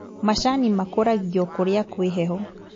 Macani makũragio kũria kwĩ heho